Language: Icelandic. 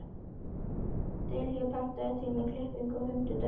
Dilja, pantaðu tíma í klippingu á fimmtudaginn.